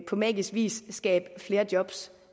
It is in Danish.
på magisk vis kan skabe flere job